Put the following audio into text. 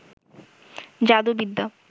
জাদুবিদ্যা